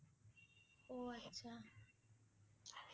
অ' আচ্ছা